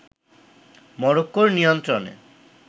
মরক্কোর নিয়ন্ত্রণে